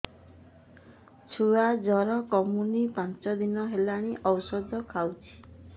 ଛୁଆ ଜର କମୁନି ପାଞ୍ଚ ଦିନ ହେଲାଣି ଔଷଧ ଖାଉଛି